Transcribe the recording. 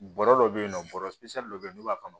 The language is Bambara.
Bɔrɔ dɔ bɛ yen nɔ bɔrɛ dɔ bɛ yen n'u b'a kɔnɔ